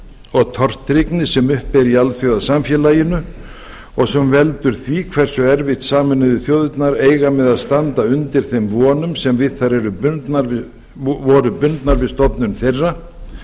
og tortryggni sem uppi er í alþjóðasamfélaginu og sem veldur því hversu erfitt sameinuðu þjóðirnar eiga með að standa undir þeim vonum sem við þær voru bundnar við stofnun þeirra